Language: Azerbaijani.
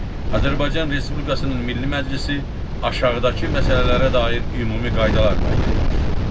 Azərbaycan Respublikasının Milli Məclisi aşağıdakı məsələlərə dair ümumi qaydalar müəyyən edir.